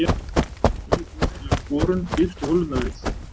Nýi borinn lauk borun dýpstu holunnar við